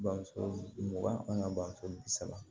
Bamuso mugan an ka bamuso bi saba